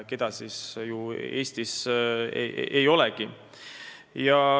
Eestis neid mõnes valdkonnas ei olegi.